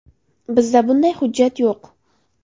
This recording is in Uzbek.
Bizda bunday hujjat yo‘q.